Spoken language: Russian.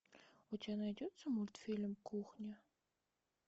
у тебя найдется мультфильм кухня